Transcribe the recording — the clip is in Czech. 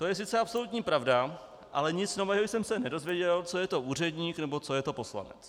To je sice absolutní pravda, ale nic nového jsem se nedozvěděl, co je to úředník nebo co je to poslanec.